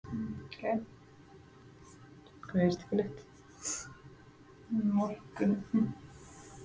Morgunblaðinu eftir lánsfé og fékk það.